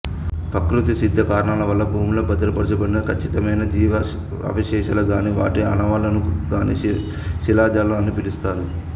ప్రకృతి సిద్ధ కారణాల వల్ల భూమిలో భద్రపరచబడిన ఖచ్ఛితమైన జీవావశేషాలను గాని వాటి ఆనవళ్ళను గాని శిలాజాలు అని పిలుస్తారు